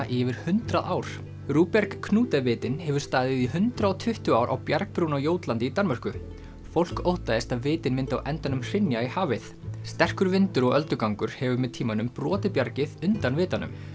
í yfir hundrað ár rubjerg Knude vitinn hefur staðið í hundrað og tuttugu ár á bjargbrún á Jótlandi í Danmörku fólk óttaðist að vitinn myndi á endanum hrynja í hafið sterkur vindur og öldugangur hefur með tímanum brotið bjargið undan vitanum